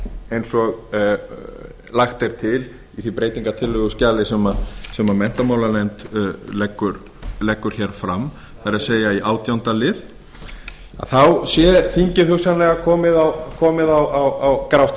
eins og lagt er mál í því breytingartillöguskjali sem menntamálanefnd leggur hér fram það er sem menntamálanefnd leggur hér fram það er í átjánda lið sé þingið hugsanlega komið á grátt